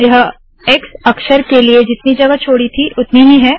यह एक्स अक्षर के लिए जितनी जगह छोडी थी उतनी ही है